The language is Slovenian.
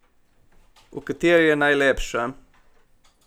V kateri je najlepša?